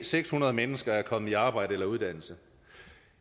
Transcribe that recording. seks hundrede mennesker er kommet i arbejde eller uddannelse